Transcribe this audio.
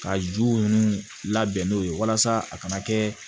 Ka ju ninnu labɛn n'o ye walasa a kana kɛ